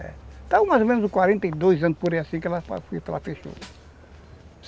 É, estava mais ou menos uns quarenta e dois anos por aí assim que ela fechou.